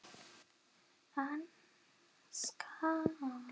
Hann skalf.